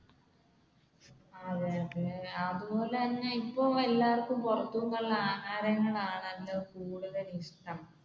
അതെ അതെ അതുപോലെ തന്നെ ഇപ്പൊ എല്ലാവര്ക്കും പുറത്തുനിന്നുള്ള ആഹാരങ്ങൾ ആണെല്ലോ കൂടുതൽ ഇഷ്ടം.